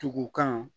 Tugu kan